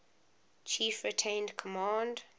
chief retained command